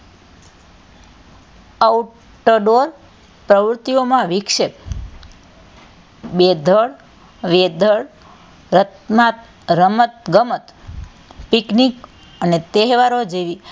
outdoor પ્રવૃત્તિઓમાં વિક્ષેપ બેધળ weather રમત - ગમત picnic અને તહેવારો જેવી,